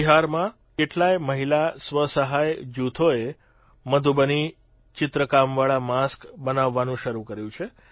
બિહારમાં કેટલાય મહિલા સ્વસહાય જૂથોએ મધુબની ચિત્રકામવાળા માસ્ક બનાવવાનું શરૂ કર્યું છે